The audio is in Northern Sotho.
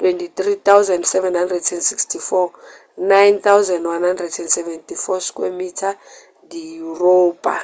23,764 9,174 sq mi di yuropa